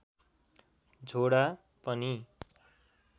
झोडा पनि